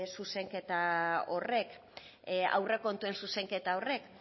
zuzenketa horrek aurrekontuen zuzenketa horrek